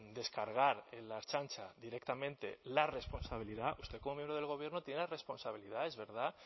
descargar en la ertzaintza directamente la responsabilidad usted como miembro del gobierno tiene responsabilidades verdad